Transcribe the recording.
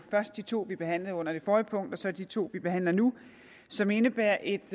først de to vi behandlede under det forrige punkt og så de to vi behandler nu som indebærer et